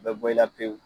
U bɛ bɔ i la pewu